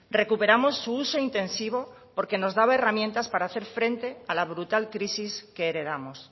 recuperamos su uso intensivo porque nos daba herramientas para hacer frente a la brutal crisis que heredamos